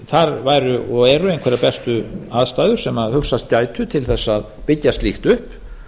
þar væru og eru einhverjar bestu aðstæður sem hugsast gætu til þess að byggja slíkt upp